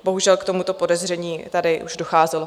Bohužel k tomuto podezření už tady docházelo.